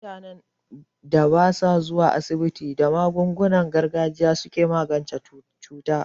Mutanen da basu zuwa asibiti, da magungunan gargajiya suke magance cuta.